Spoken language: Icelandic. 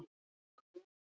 Enok